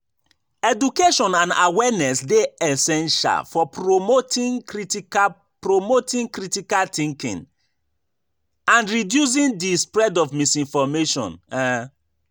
Education and awareness dey essential for promoting critical promoting critical thinking and reducing di spread of misinformation. um